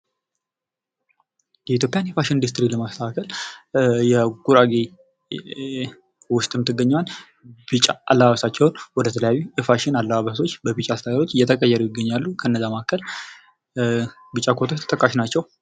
የኢትዮጵያን የፋሽን ኢንዱስትሪ ለማስተካከል የጉራጌ ዉስጥ የምትገኘውን ቢጫ አለባበሳቸውን ወደ ተለያዩ የፋሽን አለባበሶች እየተቀየሩ ይገኛሉ:: ከእነዚያ ማዕከል ቢጫ ኮቶች ተጠቃሽ ናቸው ::